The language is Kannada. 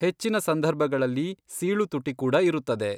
ಹೆಚ್ಚಿನ ಸಂದರ್ಭಗಳಲ್ಲಿ, ಸೀಳು ತುಟಿ ಕೂಡ ಇರುತ್ತದೆ.